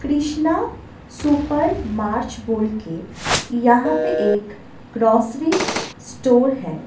Krishna super mart बोल के यहां पे एक ग्रोसरी स्टोर है ।